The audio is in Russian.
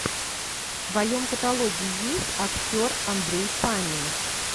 в твоем каталоге есть актер андрей панин